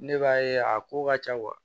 Ne b'a ye a ko ka ca